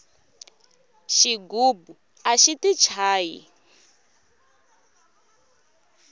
xigubu axi ti chayi